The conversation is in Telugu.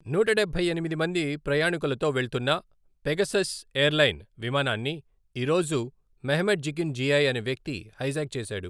నూట డబ్బై ఎనిమిది మంది ప్రయాణికులతో వెళ్తున్న పెగాసస్ ఎయిర్లైన్ విమానాన్ని ఈరోజు మెహ్మెట్ జికిన్ జిఐ అనే వ్యక్తి హైజాక్ చేశాడు.